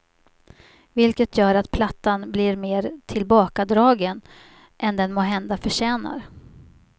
Vilket gör att plattan blir mer tillbakadragen än den måhända förtjänar.